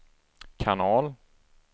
kanal